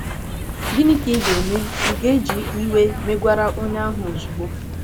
Gịnị ka ị ga - eme? Ị̀ ga - eji iwe megwara onye ahụ ozugbo?